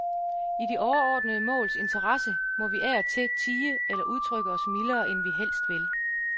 I de overordnede måls interesse må vi af og til tie eller udtrykke os mildere, end vi helst vil.